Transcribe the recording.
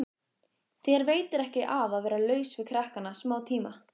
Þér veitir ekki af að vera laus við krakkana smátíma.